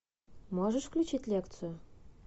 можешь включить лекцию